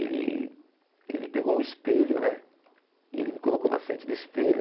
Ele ele pegou um espelho né e ele me colocou na frente do espelho.